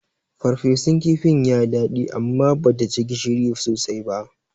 Ferfesun kifin yayi daɗi amma bata ji gishiri sosai ba.